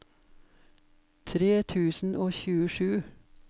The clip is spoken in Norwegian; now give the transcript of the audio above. tre tusen og tjuesju